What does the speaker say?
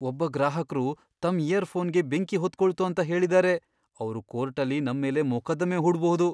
ಒಬ್ಬ ಗ್ರಾಹಕ್ರು ತಮ್ ಇಯರ್ ಫೋನ್ಗೆ ಬೆಂಕಿ ಹೊತ್ಕೊಳ್ತು ಅಂತ ಹೇಳಿದಾರೆ. ಅವ್ರು ಕೋರ್ಟಲ್ಲಿ ನಮ್ಮೇಲೆ ಮೊಕದ್ದಮೆ ಹೂಡ್ಬಹುದು.